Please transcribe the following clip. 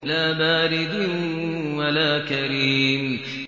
لَّا بَارِدٍ وَلَا كَرِيمٍ